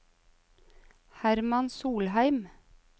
Hermann Solheim